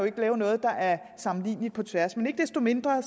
ikke lave noget der er sammenligneligt på tværs men ikke desto mindre